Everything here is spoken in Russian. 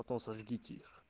потом заведите их